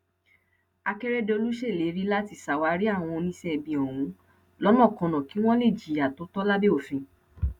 akérèdọlù ṣèlérí láti ṣàwárí àwọn oníṣẹibi ọhún lọnàkọnà kí wọn lè jìyà tó tọ lábẹ òfin